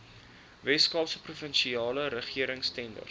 weskaapse provinsiale regeringstenders